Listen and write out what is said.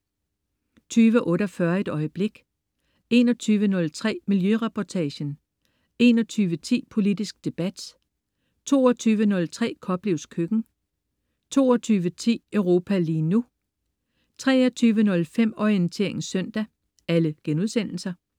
20.48 Et øjeblik* 21.03 Miljøreportagen* 21.10 Politisk debat* 22.03 Koplevs Køkken* 22.10 Europa lige nu* 23.05 Orientering søndag*